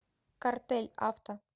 картель авто